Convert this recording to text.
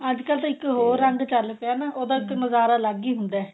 ਅੱਜਕਲ ਤਾਂ ਇੱਕ ਹੋਰ ਰੰਗ ਚੱਲ ਪਿਆ ਨਾ ਉਹਦਾ ਤਾਂ ਨਜਾਰਾ ਅਲੱਗ ਈ ਹੁੰਦਾ